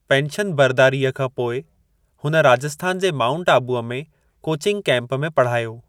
Pension बर्दारीअ खां पोइ, हुन राजस्थान जे माउंट आबूअ में कोचिंग कैम्प में पढ़ायो।